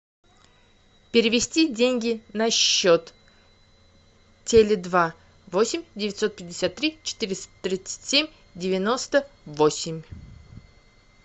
перевести деньги на счет теле два восемь девятьсот пятьдесят три четыреста тридцать семь девяносто восемь